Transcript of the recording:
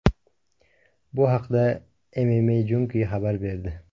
Bu haqda MMAJunkie xabar berdi .